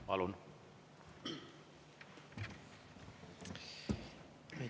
Palun!